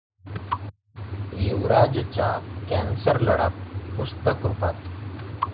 युवराजचा cancer लढा पुस्तकरुपात